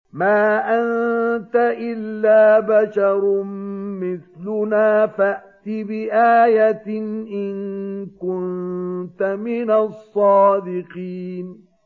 مَا أَنتَ إِلَّا بَشَرٌ مِّثْلُنَا فَأْتِ بِآيَةٍ إِن كُنتَ مِنَ الصَّادِقِينَ